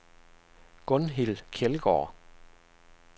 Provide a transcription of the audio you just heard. Gunhild Kjeldgaard